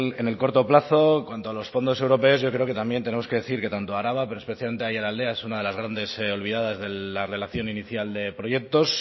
en el corto plazo en cuanto a los fondos europeos yo creo que también tenemos que decir que tanto araba pero especialmente aiaraldea es una de las grandes olvidadas de la relación inicial de proyectos